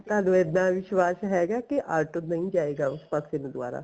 ਤੁਹਾਨੂੰ ਇੱਦਾਂ ਵਿਸ਼ਵਾਸ਼ ਹੈਗਾ ਕੀ ਆਟੋ ਨਹੀਂ ਜਾਏਗਾ ਉਸ ਪਾਸੇ ਨੂੰ ਦੁਬਾਰਾ